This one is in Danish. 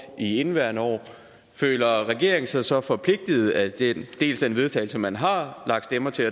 i indeværende år føler regeringen sig så forpligtet af dels den vedtagelse man har lagt stemmer til